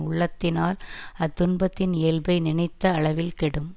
உள்ளத்தினால் அத் துன்பத்தின் இயல்பை நினைத்த அளவில் கெடும்